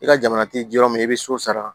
I ka jamana ti yɔrɔ min i bɛ so sara